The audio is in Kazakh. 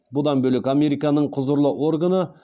бұдан бөлек американың құзырлы органы